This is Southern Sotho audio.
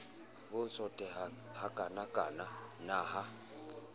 bo tsotehang hakanakana na ha